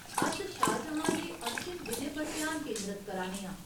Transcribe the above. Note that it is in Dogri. अस शाहजहाँ दे अंतिम दिनें पर ध्यान केंद्रत करा ने आं।